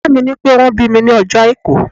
Ìyá mi ní pé wón bí mi ní ọjọ́ Àìkú.